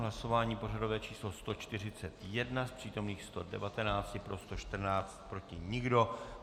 Hlasování pořadové číslo 141, z přítomných 119 pro 114, proti nikdo.